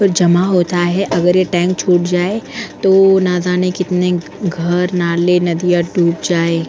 पर जमा होता है अगर ये टैंक छूट जाए तो ना जाने कितने घर नाले नदियां डूब जाए ।